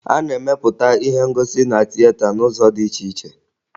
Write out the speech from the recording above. A na-emepụta ihe ngosi na tieta n'ụzọ dị iche iche